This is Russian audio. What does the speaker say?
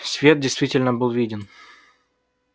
свет действительно был виден